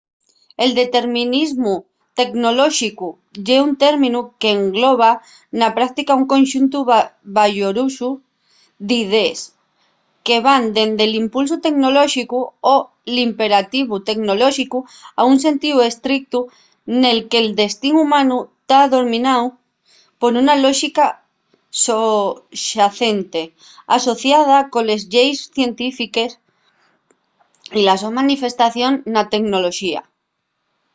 el determinismu tecnolóxicu ye un términu qu’engloba na práctica un conxuntu bayurosu d’idees que van dende’l impulsu tecnolóxicu o l’imperativu tecnolóxicu a un sentíu estrictu nel que’l destín humanu ta domináu por una lóxica soxacente asociada coles lleis científiques y la so manifestación na tecnoloxía